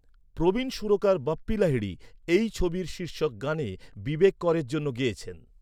প্রবীণ সুরকার বাপ্পি লাহিড়ী এই ছবির শীর্ষক গানে বিবেক করের জন্য গেয়েছেন।